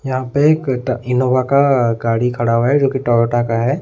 यहां पे एक ट इनोवा का गाड़ी खड़ा हुआ है जो की टोयोटा का है।